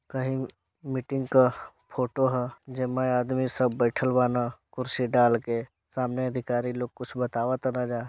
कहीं मीटिंग का फोटो हअ जेमे आदमी सब बैठल वाना कुर्सी डाल के सामने अधिकारी लोग कुछ बातावाता एजा।